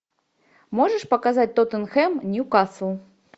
можешь показать тоттенхэм ньюкасл